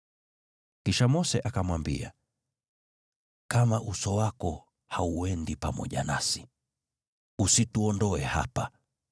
Kisha Mose akamwambia, “Kama Uso wako hauendi pamoja nasi, usituondoe hapa.